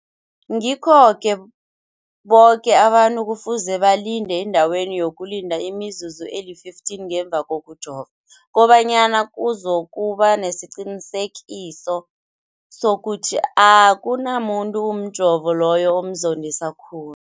Ngikho-ke boke abantu kufuze balinde endaweni yokulinda imizuzu eli-15 ngemva kokujova, koba nyana kuzokuba nesiqiniseko sokuthi akunamuntu umjovo loyo omzondisa khulu.